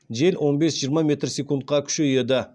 жел он бес жиырма секундқа күшейеді